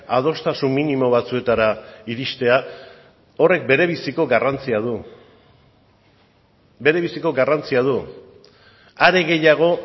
adostasun minimo batzuetara iristea horrek berebiziko garrantzia du berebiziko garrantzia du are gehiago